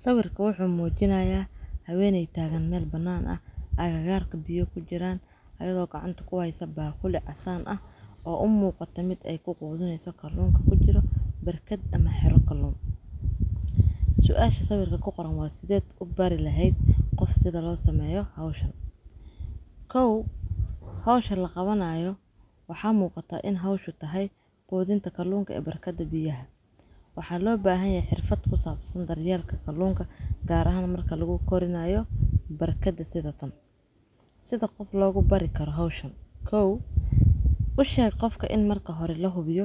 Saawirka wuxu muujinayaa haweeynaya taaganmeel banaan ah agagaarka biyo ku jiraan adagoo gacanta ku hayso baah kulic asaan ah oo un muuqatimid ay ku quuduneyso kaluunka ku jiro barkaad ama xero kaloon. Su'aasha sawirka ku qoran waad sideed u bari lahayd qofsado loo sameeyo hawshan. Hawsha la qabanayo. Waxaa muuqata in hawshu tahay quudinta kaluunka ee barkada biyaha. Waxaa loo baahan yaa xirfad ku saabsan daryeelka kaluunka gaar ahan marka laguu koriyaayo barkade sidatan. Sida qof lagugu barri karo hawshan. U shay qofka in marka hore la hubiyo